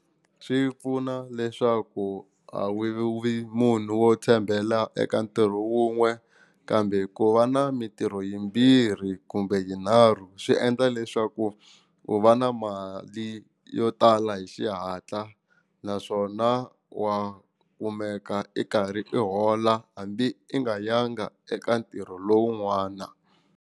Swi pfuna leswaku a wu vi munhu wo tshembela eka ntirho wun'we kambe ku va na mitirho yimbirhi kumbe yinharhu swi endla leswaku u va na mali yo tala hi xihatla naswona wa kumeka i karhi i hola hambi i nga yanga eka ntirho lowun'wana.